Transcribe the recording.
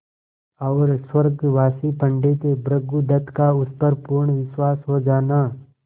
और स्वर्गवासी पंडित भृगुदत्त का उस पर पूर्ण विश्वास हो जाना